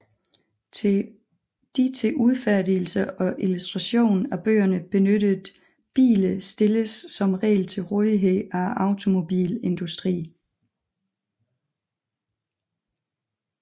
De til udfærdigelse og illustration af bøgerne benyttede biler stilles som regel til rådighed af automobilindustrien